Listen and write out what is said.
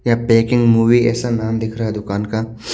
यहाँ packing movie ऐसा नाम दिख रहा है दुकान का--